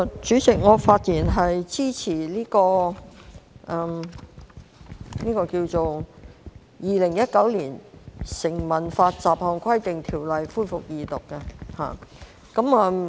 主席，我發言支持《2019年成文法條例草案》恢復二讀辯論。